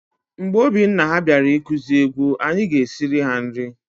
Mgbe ọbụna ha bịara ikuzi egwu, anyị ga- esiri ha nri.